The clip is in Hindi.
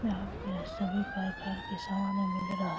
यहाँ पे सभी प्रकार के सामान मिल रहा--